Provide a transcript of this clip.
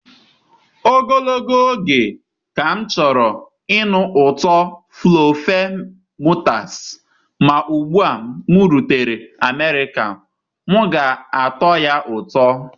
Ogologo oge ka m chọrọ ịnụ ụtọ fluffermutters, ma ugbu a m rutere America, m ga-atọ ya ụtọ.